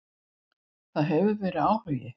Það hefur verið áhugi.